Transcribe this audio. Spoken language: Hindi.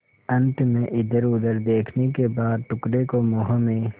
अंत में इधरउधर देखने के बाद टुकड़े को मुँह में